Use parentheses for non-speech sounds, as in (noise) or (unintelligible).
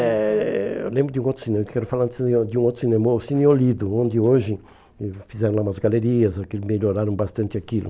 Eh eu lembro de um outro cinema, eu quero falar (unintelligible) de um outro cinema, o Cine Olido, onde hoje ãh fizeram lá umas galerias, aquele, melhoraram bastante aquilo.